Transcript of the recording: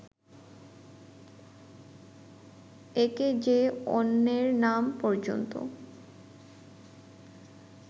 একে যে অন্যের নাম পর্যন্ত